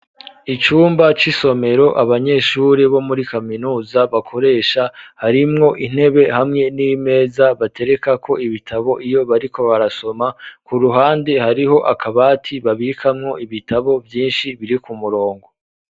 Icumba c'isomero abanyeshuri bo muri kaminuza bakoresha harimwo intebe hamwe n'imeza baterekako ibitabo iyo bariko barasoma ku ruhande hariho akabati babikamwo ibitabo vyishi biri ku murongo